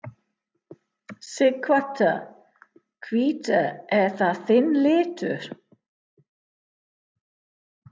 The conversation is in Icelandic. Sighvatur: Hvítur, er það þinn litur?